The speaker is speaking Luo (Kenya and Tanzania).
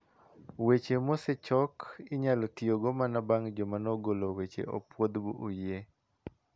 Weche mosechok inyalo tiyogo mana bang' ka jomanogolo weche opuodho bu oyie.